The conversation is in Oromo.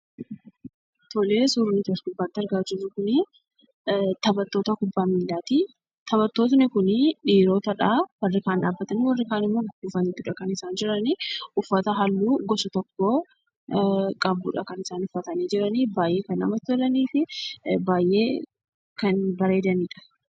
Suurri as gubbaatti argaa jirru kuni taphattoota kubbaa miilaati. Taphattoonni kuni dhiirotadha. Warri kaan dhaabbatanii warri kaan gugguufaniti kan isaan jirani. Uffata haalluu gosa tokko qabudha kan isaan uffatanii jirani. Baay'ee kan namatti tolaniifi baay'ee kan bareedanidha.